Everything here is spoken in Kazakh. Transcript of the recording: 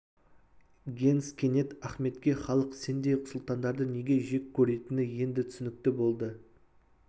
генс кенет ахметке халық сендей сұлтандарды неге жек көретіні енді түсінікті болды